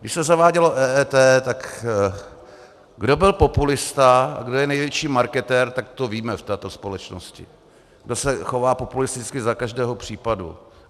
Když se zavádělo EET, tak kdo byl populista a kdo je největší marketér, tak to víme, v této společnosti, kdo se chová populisticky za každého případu.